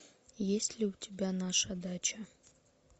есть ли у тебя наша дача